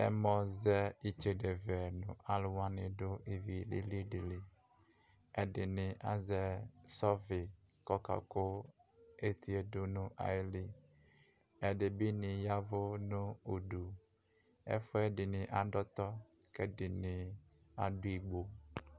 ɛmɔ zɛ itsede vɛ no alo wani do ivi lili di li ɛdini azɛ sɔfi ko ɔka ko etie do no ayi li ɛdi bi ni yavo no udu ɛfu ɛdini ado ɔtɔ ko ɛdini ado igbo